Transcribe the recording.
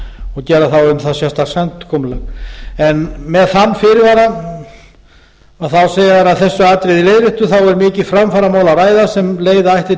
og gera þá um það sérstakt samkomulag með þann fyrirvara segja þeir að þessu atriði leiðréttu er um mikið framfaramál að ræða sem leiða ætti